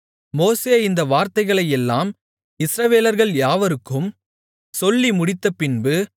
மோசே இந்த வார்த்தைகளையெல்லாம் இஸ்ரவேலர்கள் யாவருக்கும் சொல்லி முடித்தபின்பு